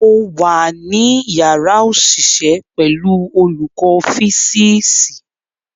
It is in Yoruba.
Mo wà ní yàrá òṣìṣẹ́ pẹ̀lú olùkọ́ físíìsì.